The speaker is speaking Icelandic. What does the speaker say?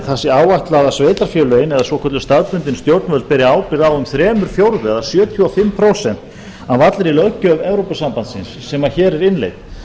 sé áætlað að sveitarfélögin eða svokölluð staðbundin stjórnvöld beri ábyrgð um þrír fjórðu eða sjötíu og fimm prósent af allri löggjöf evrópusambandsins sem hér er innleidd